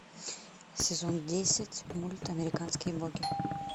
сезон десять мульт американские боги